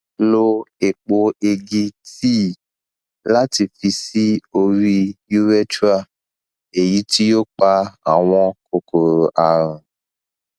lo epo egi tea lati fi si ori urethra eyiti o pa awọn kokoro arun